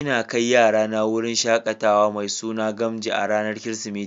N'na kai yara na wurin shakatawa mai suna Gamji a'ranan kiristimeti.